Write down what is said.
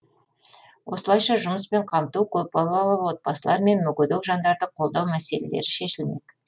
осылайша жұмыспен қамту көпбалалы отбасылар мен мүгедек жандарды қолдау мәселелері шешілмек